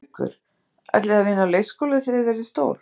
Haukur: Ætlið þið að vinna á leikskóla þegar þið verðið stór?